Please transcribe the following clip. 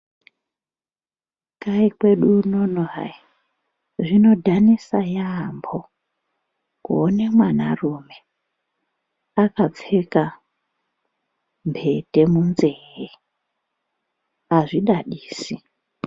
Kai kwedu unono hai zvinobadhanisa yambo , kuone mwanarume akapfeka mbete munzveye azvidadisi.